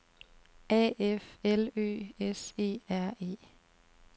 A F L Ø S E R E